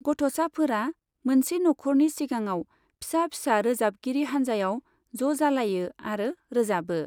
गथ'साफोरा मोनसे नखरनि सिगाङाव फिसा फिसा रोजाबगिरि हानजायाव ज' जालायो आरो रोजाबो।